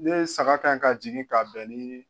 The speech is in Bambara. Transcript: N'i ye saga ka ɲi ka jigin k'a bɛn ni